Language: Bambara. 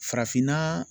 Farafinna